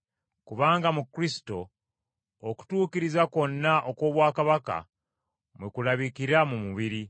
Kubanga mu Kristo okutuukiriza kwonna okw’Obwakabaka mwe kulabikira mu mubiri,